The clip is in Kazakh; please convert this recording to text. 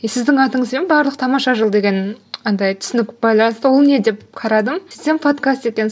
сіздің атыңызбен барлық тамаша жыл деген андай түсінік байланысты ол не деп қарадым сөйтсем подкаст екен